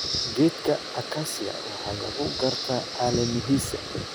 Geedka akasiya waxaa lagu gartaa caleemahiisa.